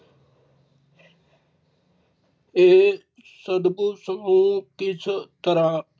ਇਹ ਸਦਪੂ ਸਮੂਹ ਕਿਸ ਤਰ੍ਹਾ